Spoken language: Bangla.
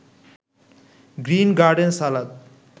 green garden salad